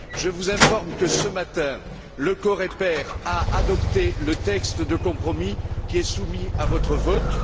Je vous informe que, ce matin, le COREPER a adopté le texte de compromis qui est soumis à votre vote.